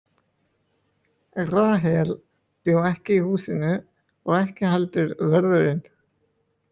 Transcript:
Rahel bjó ekki í húsinu og ekki heldur vörðurinn.